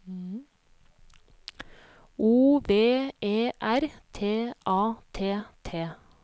O V E R T A T T